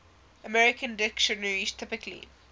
american dictionaries typically